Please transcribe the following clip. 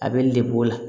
A bɛ lebu la